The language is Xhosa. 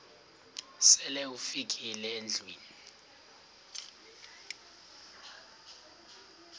sele ufikile endlwini